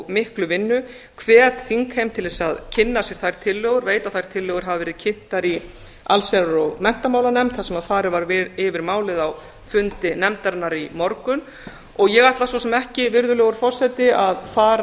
miklu vinnu hvet þingheim til þess að kynna sér þær tillögur veit að þær tillögur hafa verið kynntar í allsherjar og menntamálanefnd þar sem farið var yfir málið á fundi nefndarinnar í morgun og ég ætla svo sem ekki virðulegur forseti að fara